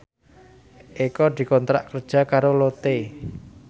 Eko dikontrak kerja karo Lotte